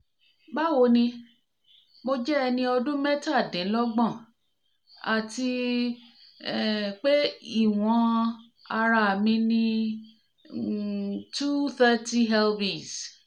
báwo ni mo jẹ́ ẹni ọdún mẹ́tàdínlọ́gbọ̀n àti um pé ìwọ̀n ara mi ni um two hundred thirty lbs